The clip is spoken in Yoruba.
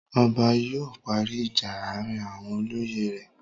Ọba yóò parí ìjà àárín àwọn olóyè rẹ̀.